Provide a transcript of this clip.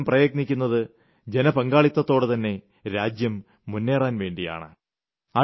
ഞാൻ എപ്പോഴും പ്രയത്നിക്കുന്നത് ജനപങ്കാളിത്തത്തോടെതന്നെ രാജ്യം മുന്നേറാൻവേണ്ടിയാണ്